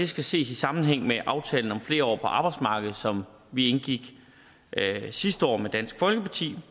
skal ses i sammenhæng med aftalen om flere år på arbejdsmarkedet som vi indgik sidste år med dansk folkeparti